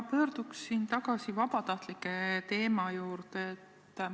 Ma pöördun tagasi vabatahtlike teema juurde.